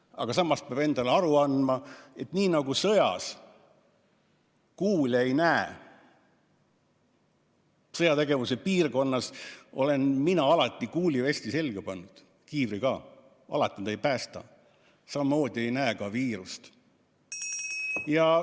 Aga samas peab endale aru andma, et nii nagu sõjas ei kuule ega näe – sõjategevuse piirkonnas olen mina alati kuulivesti selga pannud, kiivri ka pähe, ehkki alati need ei päästa –, samamoodi ei näe me ka viirust.